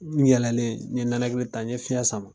N yɛlɛlen, ɲe nɛnakili ta, ɲe fiɲɛ sama.